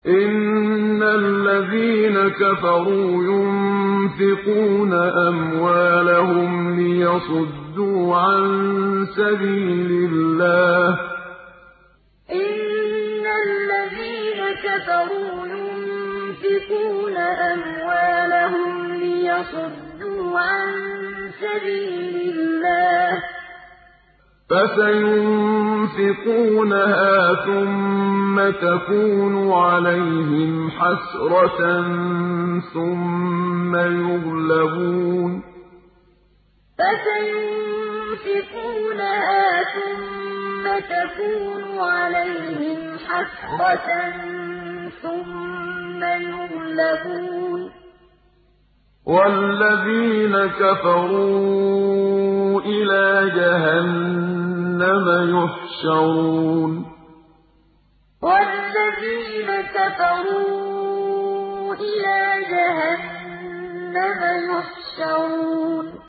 إِنَّ الَّذِينَ كَفَرُوا يُنفِقُونَ أَمْوَالَهُمْ لِيَصُدُّوا عَن سَبِيلِ اللَّهِ ۚ فَسَيُنفِقُونَهَا ثُمَّ تَكُونُ عَلَيْهِمْ حَسْرَةً ثُمَّ يُغْلَبُونَ ۗ وَالَّذِينَ كَفَرُوا إِلَىٰ جَهَنَّمَ يُحْشَرُونَ إِنَّ الَّذِينَ كَفَرُوا يُنفِقُونَ أَمْوَالَهُمْ لِيَصُدُّوا عَن سَبِيلِ اللَّهِ ۚ فَسَيُنفِقُونَهَا ثُمَّ تَكُونُ عَلَيْهِمْ حَسْرَةً ثُمَّ يُغْلَبُونَ ۗ وَالَّذِينَ كَفَرُوا إِلَىٰ جَهَنَّمَ يُحْشَرُونَ